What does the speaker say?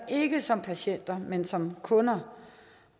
ikke som patienter men som kunder